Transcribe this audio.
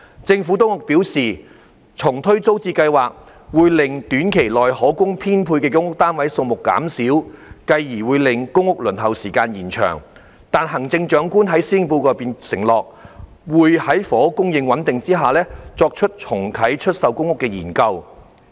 政府當局表示，重推租置計劃，會令短期內可供編配的公屋單位數目減少，繼而會令公屋輪候時間延長，但行政長官在施政報告中承諾，會在房屋供應穩定下，作出重啟出售公屋的研究。